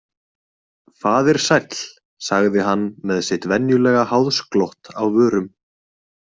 Faðir sæll, sagði hann með sitt venjulega háðsglott á vörum.